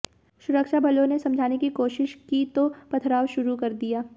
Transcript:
सुरक्षाबलों ने समझाने की कोशिश की तो पथराव शुरू कर दिया